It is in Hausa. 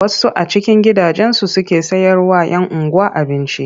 Wasu a cikin gidajensu suke sayarwa 'yan unguwa abinci.